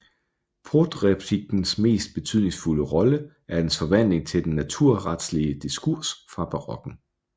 Protreptikkens mest betydningsfulde rolle er dens forvandling til den naturretslige diskurs fra barokken